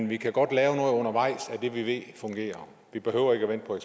vi kan godt lave noget undervejs af det vi ved fungerer vi behøver ikke at vente på